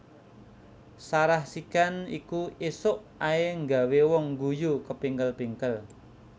Sarah Sechan iki isok ae nggawe wong ngguyu kepingkel pingkel